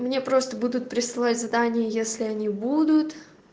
мне просто будут присылать задание если они будут